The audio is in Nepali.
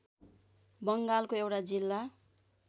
बङ्गालको एउटा जिल्ला